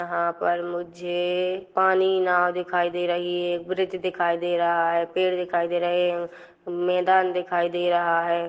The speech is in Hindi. यहाँ पर मुझे पानी नाव दिखाई दे रही हैं ब्रिज दिखाई दे रहा है पेड़ दिखाई दे रहा है मैदान दिखाई दे रहा है।